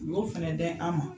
U b'o fɛnɛ dɛn an ma.